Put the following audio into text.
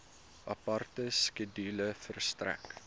aparte skedule verstrek